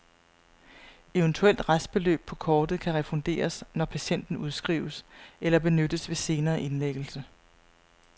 Eventuelt restbeløb på kortet kan refunderes, når patienten udskrives, eller benyttes ved senere indlæggelse.